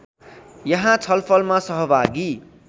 यहाँ छलफलमा सहभागी